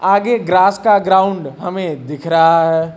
आगे ग्रास का ग्राउंड हमें दिख रहा है।